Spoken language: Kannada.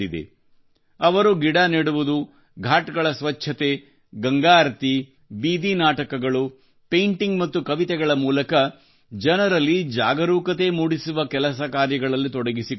ಅವರು ಗಿಡ ನೆಡುವುದು ಘಾಟ್ ಗಳ ಸ್ವಚ್ಛತೆ ಗಂಗಾ ಆರತಿ ಬೀದಿ ನಾಟಕಗಳು ಪೈಂಟಿಂಗ್ ಮತ್ತು ಕವಿತೆಗಳ ಮೂಲಕ ಜನರಲ್ಲಿ ಜಾಗರೂಕತೆ ಮೂಡಿಸುವ ಕೆಲಸ ಕಾರ್ಯಗಳಲ್ಲಿ ತೊಡಗಿಕೊಂಡಿದ್ದಾರೆ